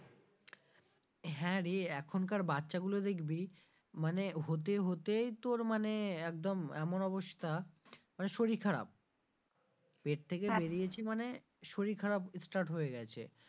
হ্যাঁরে এখন কার বাচ্চাগুলো দেখবি মানে হতে হতেই তোর মানে একদম এমন অবস্থা মানে শরীর খারাপ পেট থেকে বেরিয়েছে মানে শরীর খারাপ start হয়ে গেছে।